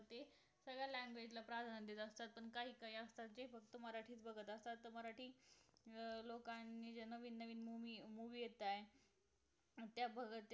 सर्व language ला प्राधान्य दिल जातं तुमचं हे असं असत कि मराठीच बघत असतात लोकांनी जे नवीन नवीन movie येतायेत त्या बघत